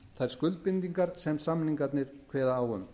þær skuldbindingar sem samningarnir kveða á um